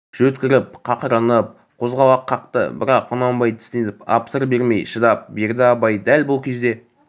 жөткіріп қақырынып қозғалақ қақты бірақ құнанбай тістеніп ап сыр бермей шыдап берді абай дәл бұл кезде